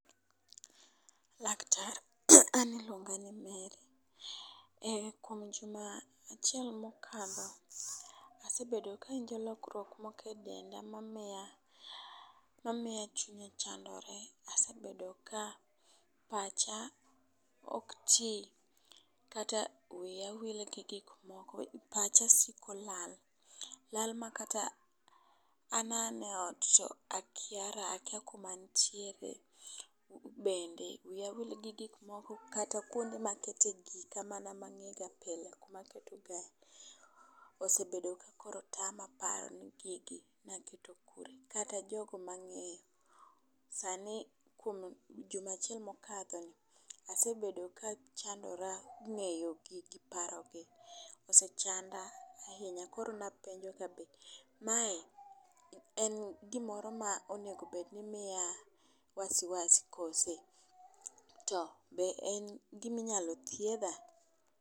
Laktar an iluonga ni Mary. Kuom juma achiel mokadho asebedo kawinjo lokruok mokedenda mamiya mamiya chunya chandore . Asebedo ka pacha ok tii kata wiya wil gi gik moko. Pacha siko lal lal makata an mana e ot to akiara akia kama antiere. Bende wiya wil gi gik moko kata kuonde ma kete gika mana ma ng'ega pile maketo ga osebedo ka koro tama paro ni gigi naketo kure kata jogo mang'eyo. Sani kuom juma achiel mokadho asebedo kachandora ng'eyo gigi paro gi osechanda ahinya, koro napenjo ka be mae en gimoro ma onego bed ni mia wasiwasi kose to be en giminyalo thiedha.